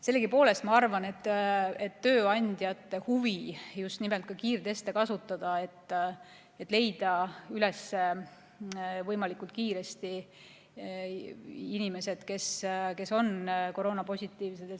Sellegipoolest ma arvan, et tööandjate huvi on just nimelt ka kiirteste kasutada, et võimalikult kiiresti leida üles inimesed, kes on koroonapositiivsed.